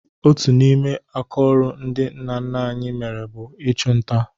Otu n'ime akaọrụ ndị nna nna anyị mere bụ ịchụ nta